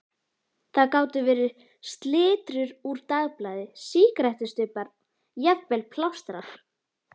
Það gátu verið slitrur úr dagblaði, sígarettustubbar, jafnvel plástrar.